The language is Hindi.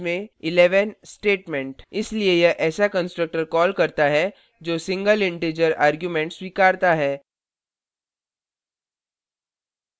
इसलिए यह ऐसा constructor calls करता है जो single integer argument स्वीकरता है